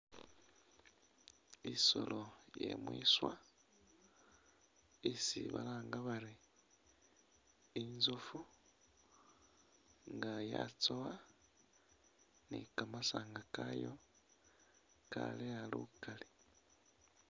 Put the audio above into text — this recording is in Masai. Isoolo iye mwiswa, isi balanga bari inzofu nga yatsowa ni kamasanga kayo kaleeya lukaali.